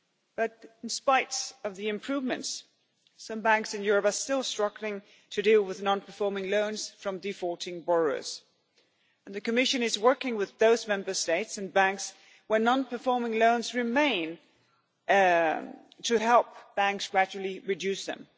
But in spite of the improvements some banks in Europe are still struggling to deal with non performing loans from defaulting borrowers and the Commission is working with those Member States and banks where non performing loans remain to help banks gradually reduce them.